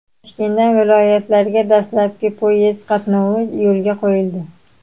Toshkentdan viloyatlarga dastlabki poyezd qatnovi yo‘lga qo‘yildi.